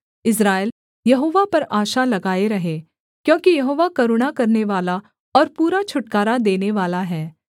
इस्राएल Jehovah पर आशा लगाए रहे क्योंकि यहोवा करुणा करनेवाला और पूरा छुटकारा देनेवाला है